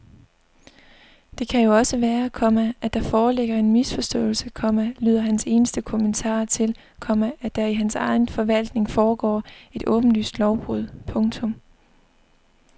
Det kan jo også være, komma at der foreligger en misforståelse, komma lyder hans eneste kommentar til, komma at der i hans egen forvaltning foregår et åbenlyst lovbrud. punktum